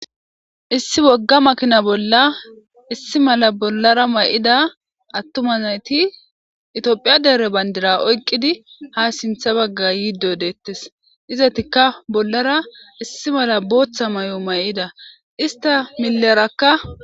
Issi wogga makina bolla issi mala bollara may7ida attuma nayti itiophiya dere bandira oyqqidi ha sintha bagga yiiddo deettes izatikka bollara issi mala booththa may7o may7ida ista millerakka.